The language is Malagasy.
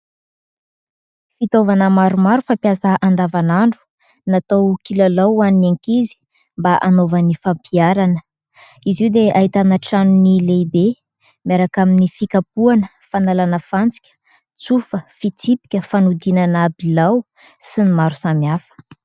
Fitaovana maromaro fampiasa andavanandro, natao kilalao ho an'ny ankizy mba anaovan'ny fampiarana ; izy io dia ahitana tranony lehibe miaraka amin'ny fikapohana fanalana fantsika, tsofa, fitsipika, fanodinana bilao sy ny maro samy hafa.